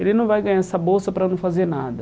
Ele não vai ganhar essa bolsa para não fazer nada.